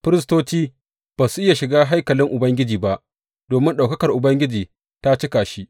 Firistoci ba su iya shiga haikalin Ubangiji ba domin ɗaukakar Ubangiji ta cika shi.